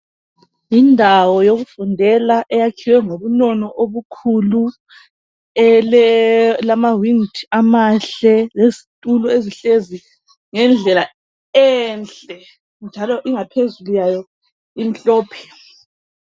Yindawo yokufundela eyakhiwe ngobunono obukhulu! Elamawindi amahle. Lezitulo ezihlezi, ngendlela enhle! Njalo ingaphezulu yayo, imhlophe.